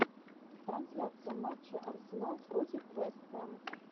трансляция матча арсенал против вест хэм